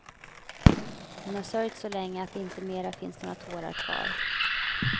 Hon har sörjt så länge att det inte mera finns några tårar kvar.